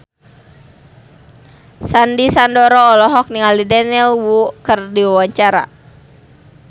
Sandy Sandoro olohok ningali Daniel Wu keur diwawancara